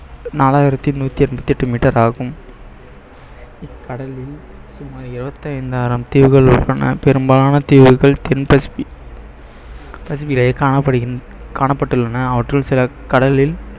நாலாயிரத்தி நூத்தி எண்பத்தி எட்டு meter ஆகும் கடலில் சுமார் இருபத்தைந்தாயிரம் தீவுகள் உள்ளன பெரும்பாலான தீவுகள் தென் பசிபி~ பசிபியிலேயே காணப்படுகின்றன காணப்பட்டுள்ளன அவற்றுள் சில கடலில்